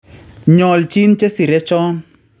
Nyolchiin chesire chon